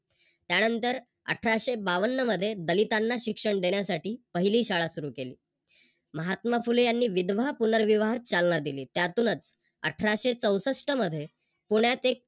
त्यानंतरअठराशे बावन्न मध्ये दलितांना शिक्षण देण्यासाठी पहिली शाळा सुरू केली. महात्मा फुले यांनी विधवा पुनर्विवाह चालना दिली. त्यातूनच अठराशे चौष्टट मध्ये पुण्यात एक